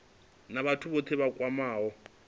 na vhathu vhothe vha kwameaho